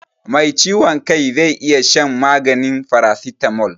Mai ciwon kai zai iya shan magani farasitamol.